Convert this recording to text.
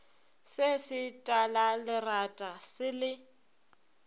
se se talalerata se le